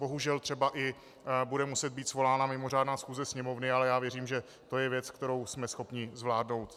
Bohužel třeba i bude muset být svolána mimořádná schůze Sněmovny, ale já věřím, že to je věc, kterou jsme schopni zvládnout.